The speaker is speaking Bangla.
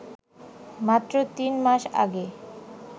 মাত্র তিন মাস আগে